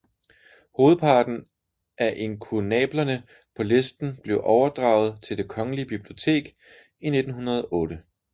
Hovedparten af inkunablerne på listen blev overdraget til Det Kongelige Bibliotek i 1908